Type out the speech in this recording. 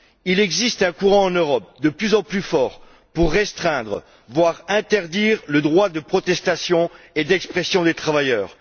Il existe un courant en Europe, de plus en plus fort, pour restreindre, voire interdire le droit de protestation et d'expression des travailleurs.